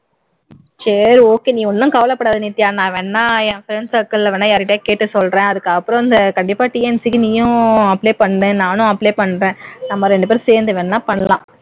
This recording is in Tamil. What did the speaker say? சரி okay நீ ஒண்ணும் கவலைப்படாத நித்யா நான் வேணும்னா என் friends circle ல வேணும்னா கேக்கிறேன் அதுக்கு அப்புறம் இந்த கண்டிப்பா TNPSC க்கு நீயும் apply பண்ணு நானும் apply பண்றேன் நம்ம இரண்டுபேரும் சேர்ந்து வேண்ணா பண்ணலாம்